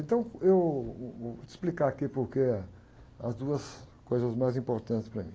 Então, eu vou, vou, vou te explicar aqui porque as duas coisas mais importantes para mim.